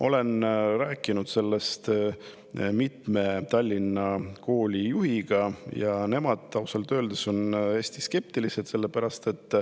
Olen rääkinud sellest mitme Tallinna kooli juhiga ja nemad on ausalt öeldes hästi skeptilised.